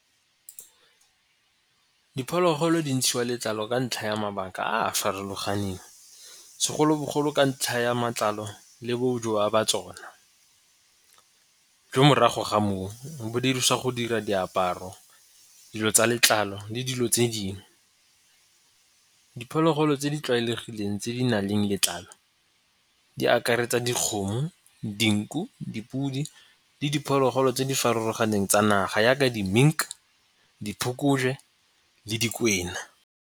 Diphologolo di ntshiwa letlalo ka ntlha ya mabaka a a farologaneng, segolobogolo ka ntlha ya matlalo le bo ba tsona. Jo morago ga moo bo dirisa go dira diaparo, dilo tsa letlalo le dilo tse dingwe. Diphologolo tse di tlwaelegileng tse di na leng letlalo di akaretsa dikgomo, dinku, dipudi le diphologolo tse di farologaneng tsa naga yaka di-mink diphokojwe le dikwena.